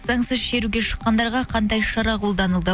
заңсыз шеруге шыққандарға қандай шара қолданылды